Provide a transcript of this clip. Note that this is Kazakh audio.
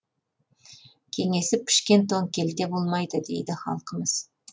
кеңесіп пішкен тон келте болмайды дейді халқымыз